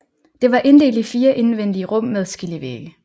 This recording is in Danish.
Det var inddelt i 4 indvendige rum med skillevægge